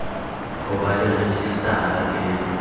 ho ba le rejistara e